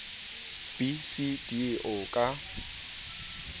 b c d o ka